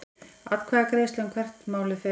Atkvæðagreiðsla um hvert málið fer